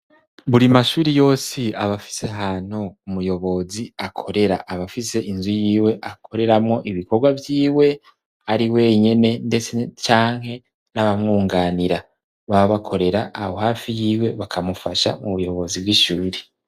Buri mashuri yose aba afise ahantu umuyobozi akorera aba afise inzu yiwe akoreramwo ibikorwa vyiwe ari wenyene ndetse canke n'abamwunganira baba bakorera aho hafi yiwe bakamufasha mu buyobozi bw'ishure.